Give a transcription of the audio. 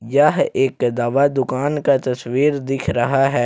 यह एक दवा दुकान का तस्वीर दिख रहा है।